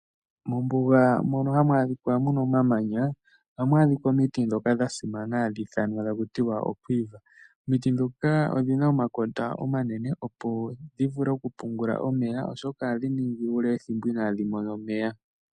Mombuga mono hamu adhika omamanya ohamu adhika omiti ndhoka dha simana hadhi ithana takutiwa o quiver . Omiti dhoka odhina omakota omanene opo dhivule oku pungula omeya oshoka ohadhi ningi ethimbo ele inadhi mona omeya.